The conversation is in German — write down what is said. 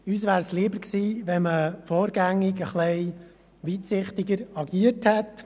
Uns wäre es lieber gewesen, wenn man vorgängig etwas weitsichtiger agiert hätte.